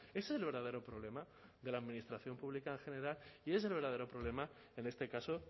es el verdadero problema de la administración pública en general y es el verdadero problema en este caso